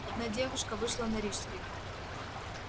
одна девушка вышла на рижской